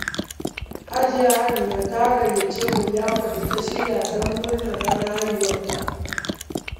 Hajiya Amina ta gayyace mu liyafar da ta shirya don murnar ranar haihuwarta.